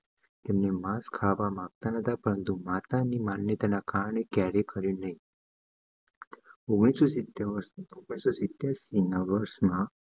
તેમને માસ ખાવા માંગતા નો તા પરંતુ માતા ની માન્યતા ના કારણે ઓગણીસો સીતેર વરસ માં